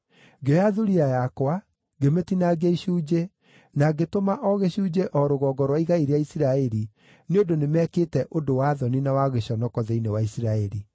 Ngĩoya thuriya yakwa, ngĩmĩtinaangia icunjĩ, na ngĩtũma o gĩcunjĩ o rũgongo rwa igai rĩa Isiraeli, nĩ ũndũ nĩmekĩte ũndũ wa thoni na wa gĩconoko thĩinĩ wa Isiraeli.